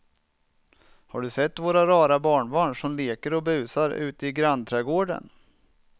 Har du sett våra rara barnbarn som leker och busar ute i grannträdgården!